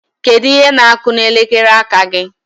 Kedu ihe na-akụ n'elekere aka gị?